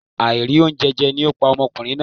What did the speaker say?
Àìrí oúnjẹ jẹ ni ó pa ọmọkùnrin náà